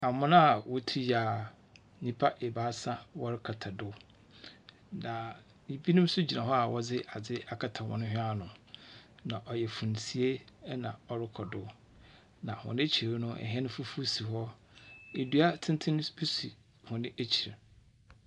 Amona a wotui a, nyimpa ebiasa wɔrekata do. Na binom nso gyina hɔ a wɔdze adze akata wɔn hwen ano. Na ɔyɛ funsie na ɔrokɔ do. Na hɔn ekyir no, hɛn fufuw si hɔ. Dua tsentsen so bi si hɔn ekyir.